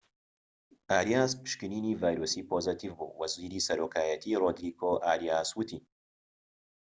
ئاریاس پشکنینی ڤایرۆسی پۆزەتیڤ بوو وەزیری سەرۆکایەتی رۆدریگۆ ئاریاس وتی